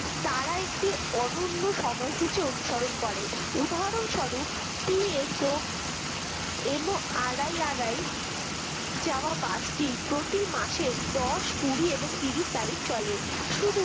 তারা একটি অনন্য সময়সূচী অনুসরণ করে উদাহরণ স্বরূপ T S O M O R I R I যাওয়া bus টি প্রতিমাসের দশ কুড়ি এবং ত্রিশ তারিখ চলে শুধু